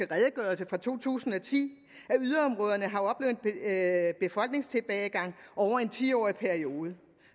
redegørelse fra to tusind og ti at befolkningstilbagegang over en ti årig periode